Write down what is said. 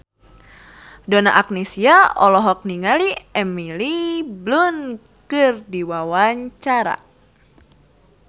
Donna Agnesia olohok ningali Emily Blunt keur diwawancara